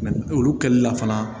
olu kɛli la fana